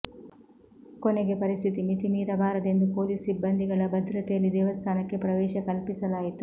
ಕೊನೆಗೆ ಪರಿಸ್ಥಿತಿ ಮಿತಿಮೀರಬಾರದೆಂದು ಪೊಲೀಸ್ ಸಿಬ್ಬಂದಿಗಳ ಭದ್ರತೆಯಲ್ಲಿ ದೇವಸ್ಥಾನಕ್ಕೆ ಪ್ರವೇಶ ಕಲ್ಪಿಸಲಾಯಿತು